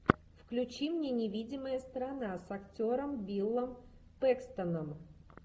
включи мне невидимая сторона с актером биллом пэкстоном